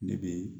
Ne bɛ